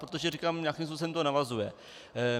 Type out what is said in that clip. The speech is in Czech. Protože říkám, nějakým způsobem to navazuje.